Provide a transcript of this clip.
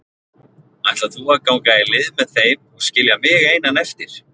Ætlar þú að ganga í lið með þeim og skilja mig einan eftir?